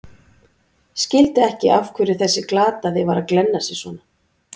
Skildi ekki af hverju þessi glataði var að glenna sig svona.